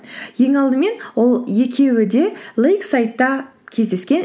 ең алдымен ол екеуі де лейксайдта кездескен